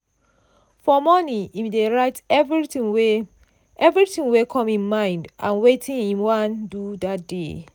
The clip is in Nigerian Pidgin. for morning im dey write everything wey everything wey come im mind and wetin im wan do that day.